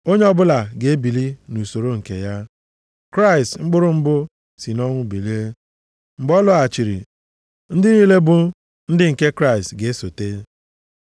Onye ọbụla ga-ebili nʼusoro nke ya, Kraịst mkpụrụ mbụ si nʼọnwụ bilie. Mgbe ọ lọghachiri, ndị niile bụ ndị nke Kraịst ga-esote.